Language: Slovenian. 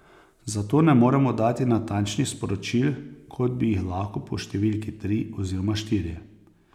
Zato ne moremo dati natančnih sporočil, kot bi jih lahko po številki tri oziroma štiri.